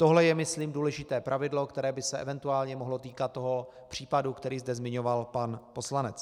Tohle je myslím důležité pravidlo, které by se eventuálně mohlo týkat toho případu, který zde zmiňoval pan poslanec.